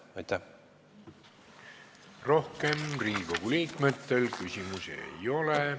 Rohkem Riigikogu liikmetel küsimusi ei ole.